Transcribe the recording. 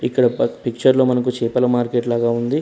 ఇక్కడ పట్ పిక్చర్ లో మనకు చేపల మార్కెట్ లాగా ఉంది.